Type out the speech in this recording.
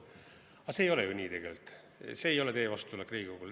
Aga see ei ole ju nii tegelikult, see ei ole teie vastutulek Riigikogule.